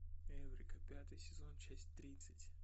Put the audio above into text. эврика пятый сезон часть тридцать